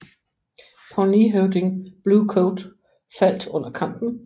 Pawneehøvding Blue Coat faldt under kampen